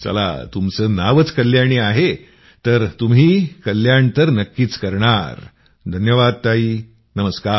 चला तुमचं नावच कल्याणी आहे तर तुम्ही कल्याण तर नक्कीच करणार धन्यवाद ताई नमस्कार